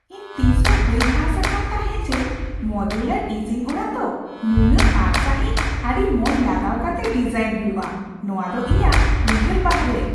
ᱤᱧ ᱛᱤᱥᱦᱚᱸ ᱵᱟᱹᱧ ᱟᱸᱥ ᱟᱠᱟᱱ ᱛᱟᱦᱮᱸ ᱡᱮ ᱢᱚᱰᱩᱞᱟᱨ ᱤᱥᱤᱱ ᱚᱲᱟᱜ ᱫᱚ ᱱᱩᱱᱟᱹᱜ ᱟᱸᱴ ᱥᱟᱹᱦᱤᱡ ᱟᱹᱰᱤ ᱢᱚᱱ ᱞᱟᱜᱟᱣ ᱠᱟᱛᱮ ᱰᱤᱡᱟᱭᱤᱱ ᱦᱩᱭᱩᱜᱼᱟ ! ᱱᱚᱶᱟ ᱫᱚ ᱤᱧᱟᱹᱜ ᱩᱭᱦᱟᱹᱨ ᱵᱟᱦᱚᱨᱮ ᱾